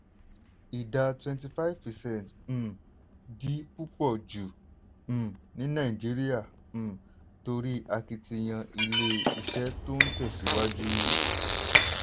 ìdá 25 percent um di púpọ̀ jù um ní nàìjíríà um torí akitiyan ilé-iṣẹ́ tó ń tẹ̀síwájú.